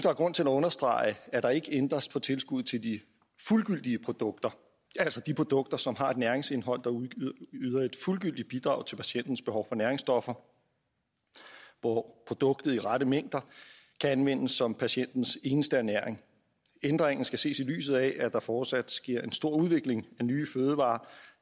er grund til at understrege at der ikke ændres på tilskud til de fuldgyldige produkter altså de produkter som har et næringsindhold der yder et fuldgyldigt bidrag til patientens behov for næringsstoffer hvor produktet i rette mængder kan anvendes som patientens eneste ernæring ændringen skal ses i lyset af at der fortsat sker en stor udvikling af nye fødevarer